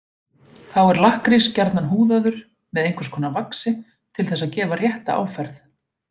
Þá er lakkrís gjarnan húðaður með einhvers konar vaxi til þess að gefa rétta áferð.